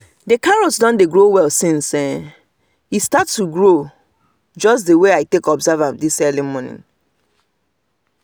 the carrots don dey grow well since e start grow just the way i take observe am this morning